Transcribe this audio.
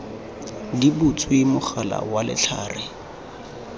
di butswe mogala wa letlhare